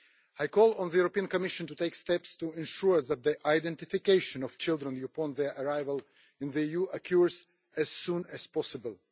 I call on the European Commission to take steps to ensure that the identification of children upon their arrival in the EU occurs as soon as possible.